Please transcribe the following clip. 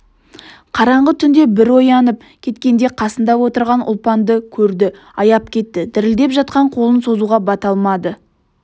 қараңғы түнде бір оянып кеткенде қасында отырған ұлпанды көрді аяп кетті дірілдеп жатқан қолын созуға бата алмады